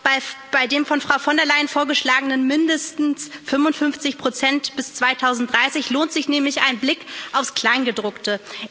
Auch bei den von Frau von der Leyen vorgeschlagenen mindestens 55 bis 2030 lohnt sich nämlich ein Blick aufs Kleingedruckte.